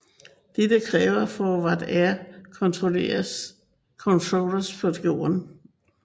Dette kræver Forward air controllers på jorden